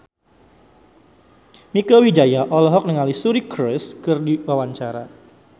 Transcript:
Mieke Wijaya olohok ningali Suri Cruise keur diwawancara